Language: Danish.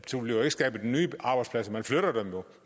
bliver jo ikke skabt nye arbejdspladser man flytter dem